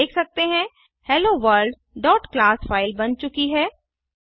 हम देख सकते हैं helloworldक्लास फ़ाइल बन चुकी है